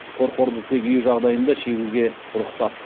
қорқорды тек үй жағдайында шегуге рұқсат